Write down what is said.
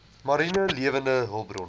mariene lewende hulpbronne